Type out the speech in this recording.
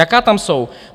Jaká tam jsou?